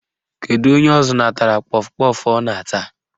Kedu onye ọ zụnatara kpọf kpọf ọ na-ata?